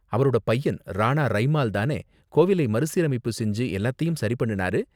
அவரோட பையன், ராணா ரைமால் தானே கோவிலை மறுசீரமைப்பு செஞ்சு எல்லாத்தையும் சரி பண்ணுனாரு?